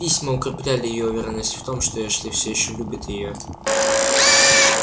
письма укрепляли её уверенность в том что эшли всё ещё любит её